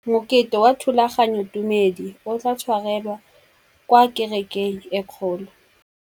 Mokete wa thulaganyôtumêdi o tla tshwarelwa kwa kerekeng e kgolo.